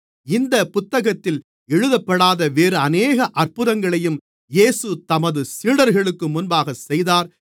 இந்தப் புத்தகத்தில் எழுதப்படாத வேறு அநேக அற்புதங்களையும் இயேசு தமது சீடர்களுக்கு முன்பாகச் செய்தார்